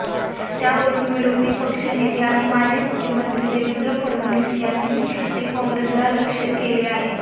त्यावरुन विरोधी पक्ष नेते आणि माजी मुख्यमंत्री देवेंद्र फडणवीस यांनी काँग्रेसला लक्ष केले आहे